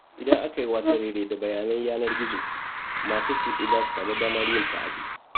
Idan aka yi wasarere da bayanan yanar-gizo, masu kutse za su sami damar yin ta'adi.